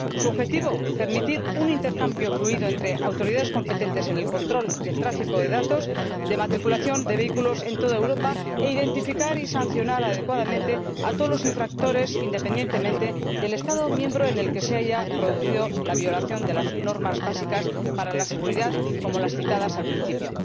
Su objetivo permitir un intercambio fluido entre las autoridades competentes en el control del tráfico de datos de matriculación de vehículos en toda Europa e identificar y sancionar adecuadamente a todos los infractores, independientemente del Estado miembro en el que se haya producido la violación de las normas básicas para la seguridad, como las citadas al principio.